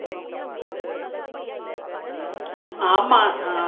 ஆமா ஆஹ்